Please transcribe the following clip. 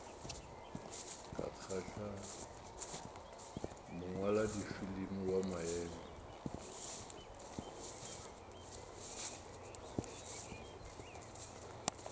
ka kgahla mongwaladifilimi wa maemo